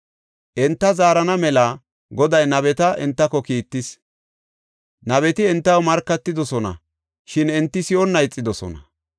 Enta zaarana mela Goday nabeta entako kiittis. Nabeti entaw markatidosona; shin enti si7onna ixidosona.